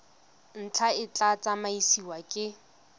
ntlha e tla tsamaisiwa ke